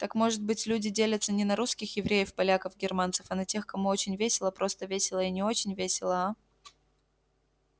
так может быть люди делятся не на русских евреев поляков германцев а на тех кому очень весело просто весело и не очень весело а